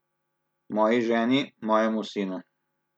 Moji ženi, mojemu sinu.